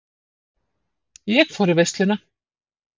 Ég fór í veisluna.